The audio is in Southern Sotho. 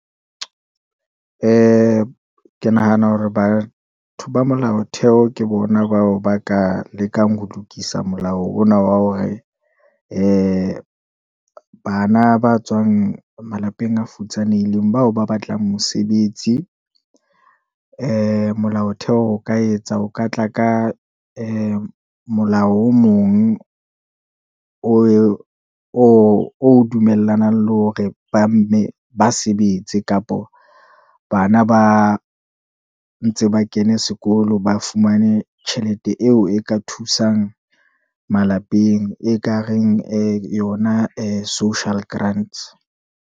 Ee, ke nahana hore batho ba molao theho, ke bona bao ba ka lekang ho lokisa molao ona wa hore, ee bana ba tswang malapeng a futsanehileng bao ba batlang mosebetsi, eemolao theho o ka etsa, o ka tla ka ee molao o mong, o dumellanang le hore ba mme ba sebetse, kapa hore bana ba ntse ba kene sekolo, ba fumane tjhelete eo e ka thusang malapeng, e kareng ee yona ya social grants.